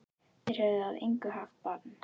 Þeir höfðu að engu haft bann